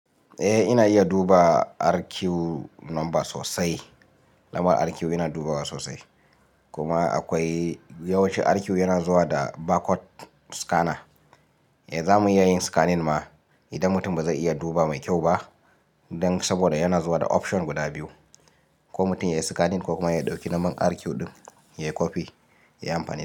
Eh ina iya duba RQ number sosai. Lambar RQ yana dubawa sosai kuma akwai yawanci RQ yana zuwa da barcode scanner. Eh za mu iya yin scanning ma idan mutum ba zai iya duba mai kyau ba dan saboda yana zuwa da option guda biyu, ko mutum yayi scanning ko kuma ya ɗauki lambar RQ ɗin ya yi copy ya yi amfani da ita.